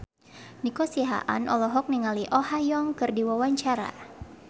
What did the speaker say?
Nico Siahaan olohok ningali Oh Ha Young keur diwawancara